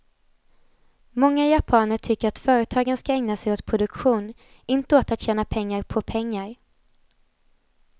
Många japaner tycker att företagen ska ägna sig åt produktion, inte åt att tjäna pengar på pengar.